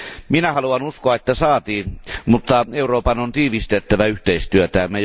Minä haluan uskoa, että saatiin, mutta Euroopan on tiivistettävä yhteistyötään.